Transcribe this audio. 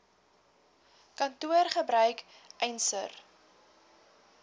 kantoor gebruik eisnr